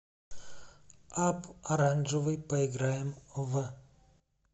апп оранжевый поиграем в